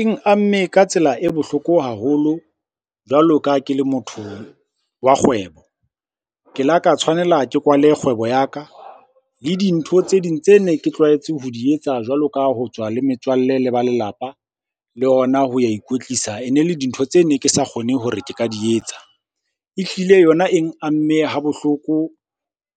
Eng amme ka tsela e bohloko haholo jwalo ka ha ke le motho wa kgwebo. Ke la ka tshwanela ke kwale kgwebo ya ka le dintho tse ding tse ne ke tlwaetse ho di etsa jwalo ka ho tswa le metswalle le ba lelapa, le hona ho ya ikwetlisa. E ne le dintho tse ne ke sa kgone hore ke ka di etsa. Ehlile yona eng amme ha bohloko